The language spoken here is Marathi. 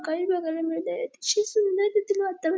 काही बघायला मिळते अतिशय सुंदर तेथील वातावरण --